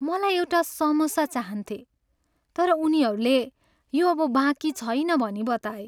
मलाई एउटा सामोसा चाहन्थेँ तर उनीहरूले यो अब बाँकी छैन भनी बताए।